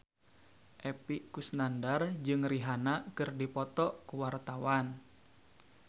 Epy Kusnandar jeung Rihanna keur dipoto ku wartawan